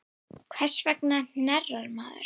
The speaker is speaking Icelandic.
Hvers vegna hnerrar maður?